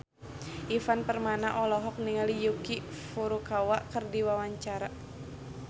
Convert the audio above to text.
Ivan Permana olohok ningali Yuki Furukawa keur diwawancara